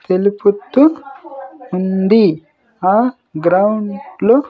తెలుపుతూ ఉంది ఆ గ్రౌండ్ లో.